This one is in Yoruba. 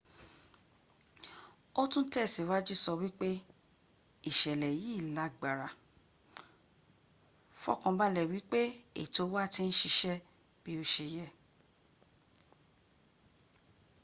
ó tún tẹ̀síwájú sọ wípé ìṣẹ̀lẹ̀ yìí lágbára. fọkànbalẹ̀ wípé ètò wa ti ń síṣẹ́ bí ó se y.